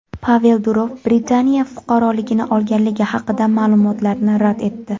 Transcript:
Pavel Durov Britaniya fuqaroligini olganligi haqidagi ma’lumotlarni rad etdi.